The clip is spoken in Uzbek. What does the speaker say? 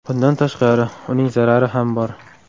Bundan tashqari, uning zarari ham bor.